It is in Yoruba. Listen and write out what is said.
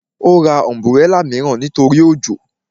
Ó ra ọ̀nbúrẹlà mìíràn nítorí òjò